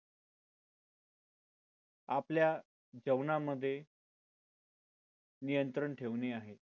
आपल्या जेवणामध्ये नियंत्रण ठेवणे आहे